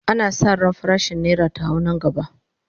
ana San ran farashin naira ta hau Nan gaba